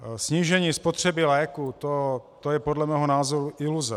Snížení spotřeby léků, to je podle mého názoru iluze.